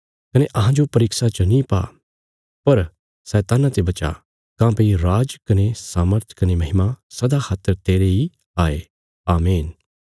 कने अहांजो परीक्षा च नीं पा पर शैतान्ना ते बचा [काँह्भई राज कने सामर्थ कने महिमा सदा खातर तेरे इ हाये आमीन]